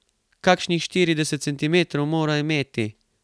Kakšnih štirideset centimetrov mora imeti.